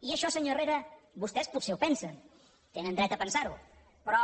i això senyor herrera vostès potser ho pensen tenen dret a pensar ho però